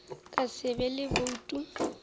ka se be le boutu